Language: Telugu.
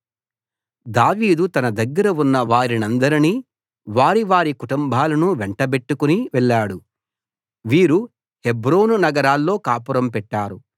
దావీదు తన దగ్గర ఉన్న వారినందరినీ వారి వారి కుటుంబాలనూ వెంట బెట్టుకుని వెళ్ళాడు వీరు హెబ్రోను నగరాల్లో కాపురం పెట్టారు